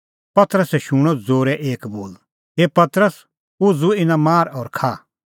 पतरसै शूणअ ज़ोरै एक बोल हे पतरस उझ़ू इना मार और खा